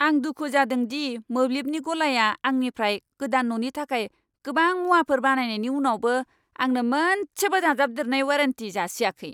आं दुखु जादों दि मोब्लिबनि गलाया आंनिफ्राय गोदान न'नि थाखाय गोबां मुवाफोर बायनायनि उनावबो आंनो मोनसेबो दाजाबदेरनाय वारेन्टि जासियाखै!